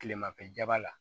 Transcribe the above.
Kilemafɛ jaba la